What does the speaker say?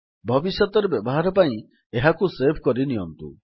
ଭବିଷ୍ୟତରେ ବ୍ୟବହାର ପାଇଁ ଏହାକୁ ସେଭ୍ କରିନିଅନ୍ତୁ